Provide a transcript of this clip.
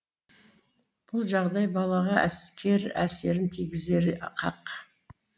бұл жағдай балаға кері әсерін тигізері хақ